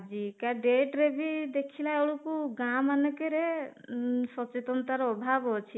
କା date ରେ ବି ଦେଖିଲା ବେଳକୁ ଗାଁ ମାନକେରେ ସଚେତନତା ର ଅଭାବ ଅଛି